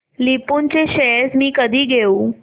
लुपिन चे शेअर्स मी कधी घेऊ